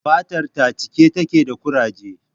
Fatar ta cike take da ƙuraje